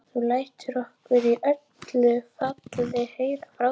Þú lætur okkur í öllu falli heyra frá þér.